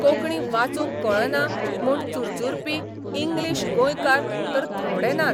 कोंकणी वाचूंक कळना म्हूण चुरचुरपी 'इंग्लिश गोंयकार 'तर थोडे नात.